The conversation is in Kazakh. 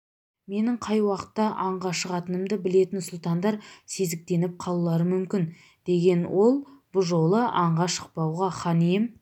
менің қай уақытта аңға шығатынымды білетін сұлтандар сезіктеніп қалулары мүмкін деген ол бұ жолы аңға шықпауға хан ием